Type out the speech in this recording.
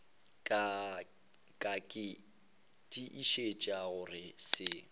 ka ke tiišetša go se